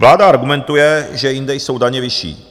Vláda argumentuje, že jinde jsou daně vyšší.